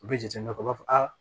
U bɛ jateminɛ u b'a fɔ a